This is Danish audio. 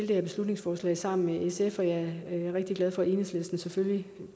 det her beslutningsforslag sammen med sf og jeg er rigtig glad for at enhedslisten selvfølgelig